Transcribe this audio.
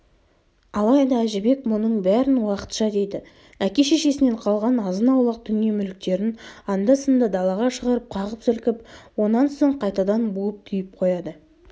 алайда әжібек мұның бәрін уақытша дейді әке-шешесінен қалған азын-аулақ дүние-мүліктерін анда-санда далаға шығарып қағып-сілкіп онан соң қайтадан буып-түйіп қояды